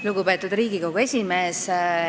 Lugupeetud Riigikogu esimees!